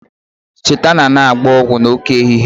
Cheta na anaghị agba ọgwụ n'oké ehihie